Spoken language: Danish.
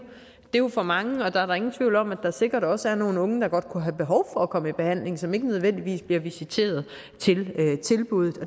jo for mange og der er da ingen tvivl om at der sikkert også er nogle unge der godt kunne have behov for at komme i behandling og som ikke nødvendigvis bliver visiteret til tilbuddet